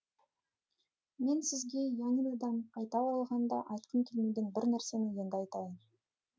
мен сізге янинадан қайта оралғанда айтқым келмеген бір нәрсені енді айтайын